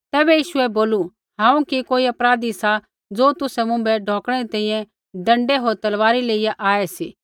तैबै यीशुऐ बोलू हांऊँ कि कोई अपराधी सा ज़ो तुसै मुँभै ढौकणै री तैंईंयैं डँडै होर तलवारी लेइया आऐ सी